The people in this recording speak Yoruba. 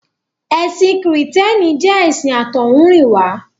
Ẹ̀sìn Kìrìtẹ́ẹ́nì jẹ́ ẹ̀sìn àtọ́húnrìnwá.